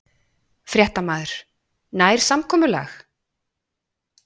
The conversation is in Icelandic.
Fréttamaður: Nær samkomulag?